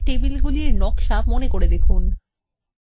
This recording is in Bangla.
এখন table নকশায় ফিরে যাওয়া যাক